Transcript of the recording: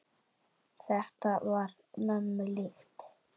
Þetta var mömmu líkt.